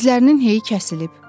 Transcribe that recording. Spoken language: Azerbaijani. Dizlərinin heyi kəsilib.